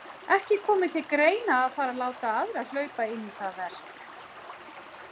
Ekki komi til greina að fara að láta aðra hlaupa inn í það verk.